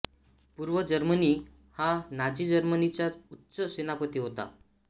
पूर्व जर्मनी हा नाझी जर्मनीचा उच्च सेनापती होता